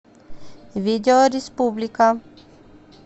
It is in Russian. видео республика